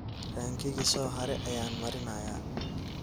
Rankiki soohare ayan marinaya.